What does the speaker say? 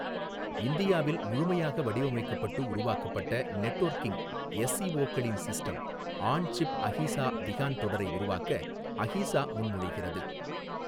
இந்தியாவில் முழுமையாக வடிவமைக்கப்பட்டு உருவாக்கப்பட்ட நெட்வொர்க்கிங் எஸ்ஓசிகளின் system on chip AHEESA Vihaan தொடரை உருவாக்க அஹீசா முன்மொழிகிறது.